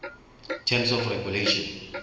terms of regulation